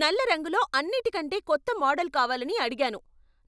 నల్ల రంగులో అన్నిటికంటే కొత్త మోడల్ కావాలని అడిగాను.